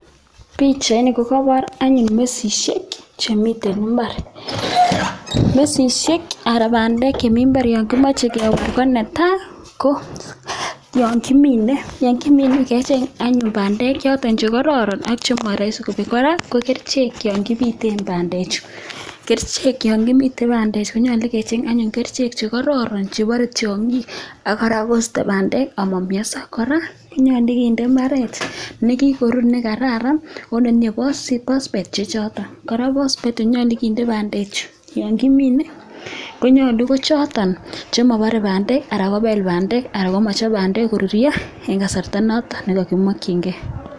Pichaini kebor anyun mesisiek. Yekiminei kechenge keswek che kororon ak kebit sokobar tiongik. meche kora kende phosphate si korurya komie ako chemobore bandek